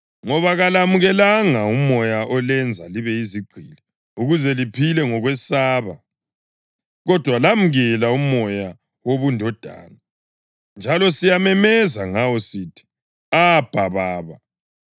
Ngoba kalamukelanga umoya olenza libe yizigqili, ukuze liphile ngokwesaba, kodwa lamukela uMoya wobundodana. Njalo siyamemeza ngawo sithi, “ Abha, Baba.”